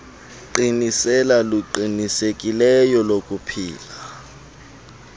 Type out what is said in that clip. qiniselo luqinisekileyo lokuphila